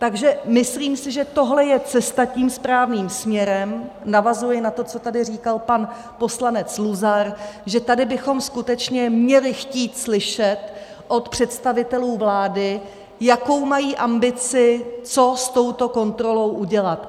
Takže myslím si, že tohle je cesta tím správným směrem - navazuji na to, co tady říkal pan poslanec Luzar, že tady bychom skutečně měli chtít slyšet od představitelů vlády, jakou mají ambici, co s touto kontrolou udělat.